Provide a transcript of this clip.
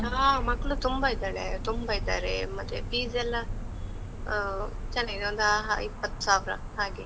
ಹಾ, ಮಕ್ಳು ತುಂಬಾ ಇದಳೇ, ತುಂಬಾ ಇದ್ದಾರೆ, ಮತ್ತೆ fees ಎಲ್ಲ ಆ ಚನ್ನಾಗಿದೆ ಒಂದ್ ಆ ಹ ಇಪ್ಪತ್ ಸಾವ್ರ ಹಾಗೆ.